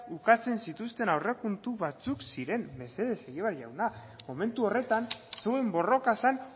ukatzen zituzten aurrekontu batzuk ziren mesedez egibar jauna momentu horretan zeuen borroka zen